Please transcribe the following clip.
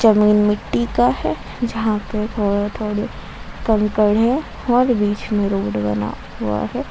जमीन मिट्टी का है जहां पे थोड़े थोड़े कंकड़ है और बीच में रोड बना हुआ है।